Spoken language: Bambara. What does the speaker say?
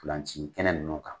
Ntolan ci kɛnɛ nunnu kan.